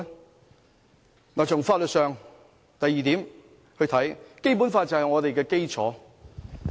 第二，從法律上來看，《基本法》就是我們的基礎。